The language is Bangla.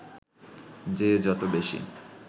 যে যত বেশি